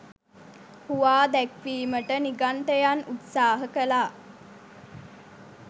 හුවා දැක්වීමට නිගණ්ඨයන් උත්සාහ කළා.